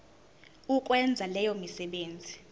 ukwenza leyo misebenzi